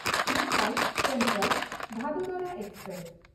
Mumbai ᱥᱮᱱᱴᱨᱟᱞ–ᱵᱷᱟᱫᱳᱫᱚᱨᱟ express